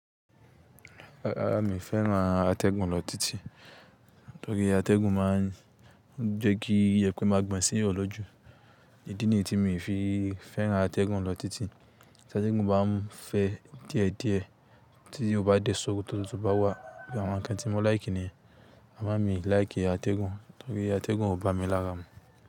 Rárá mi o fẹ́ràn atẹ́gùn lọ títíí, torí atẹ́gùn máa ń jẹ́ kí ìyẹpẹ́ máa gbọn sí ọ lọ́jú. Èyí ni tí mi fi fẹ́ràn atẹ́gùn lọ títí. Ṣẹ́ṣẹ́ gun bá n fẹ́ díẹ̀ díẹ̀, títí o bá dẹ́ ṣóòkò tótó tó bá wà. Bí àwọn ǹkan tí mo láìkí ni, àmá mi láìkí atẹ́gùn torí atẹ́gùn o bá mi lára mu.